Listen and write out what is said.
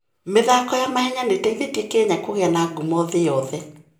mĩthako ya mahenya nĩ ĩteithĩtie Kenya kũgĩa na ngumo thĩ yothe.